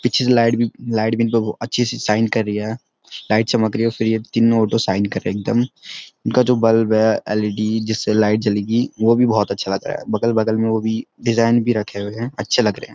पीछे से लाईट भी लाईट भी अच्छी सी शाईन कर रही है लाईट चमक रही है फिर ये तीनों शाईन कर रहे है एकदम इनका जो बल्‍व है एल.ई.डी जिससे लाईट जलेगी वो भी बहोत अच्‍छा लग रहा है बगल-बगल में वो भी डिजाईन भी रखे हुए है अच्‍छे लग रहें हैं।